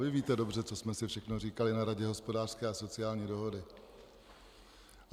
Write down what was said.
Vy víte dobře, co jsme si všechno říkali na Radě hospodářské a sociální dohody.